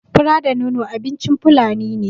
Fura da nono abincin fulani ne